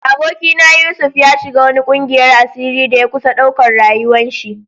Aboki na Yusuf, ya shiga wani ƙungiyan asiri da ya kusa ɗauka rayuwa'n shi.